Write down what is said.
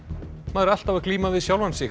maður er alltaf að glíma við sjálfan sig